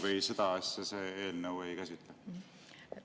Või seda asja see eelnõu ei käsitle?